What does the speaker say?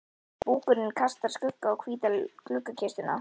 Búkurinn kastar skugga á hvíta gluggakistuna.